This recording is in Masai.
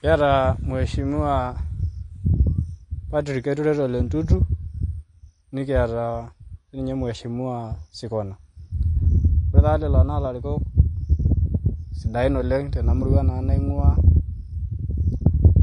Kiata Mheshimiwa Patrick Keturet Ole Ntutu nikiata sii ninye Mheshimiwa Sikona. Kore taa lelo naa larikok sidain oleng' tena murua naa naing'uaa